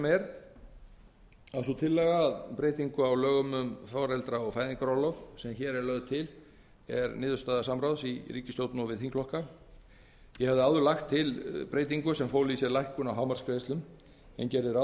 er að sú tillaga að breytingu á lögum um foreldra og fæðingarorlofi sem hér er lögð til er ekki að mínu skapi ég hafði áður lagt til breytingu sem fól í sér lækkun á hámarksgreiðslum en gerði ráð